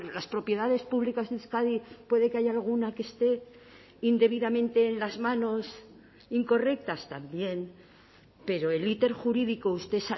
las propiedades públicas de euskadi puede que haya alguna que esté indebidamente en las manos incorrectas también pero el íter jurídico usted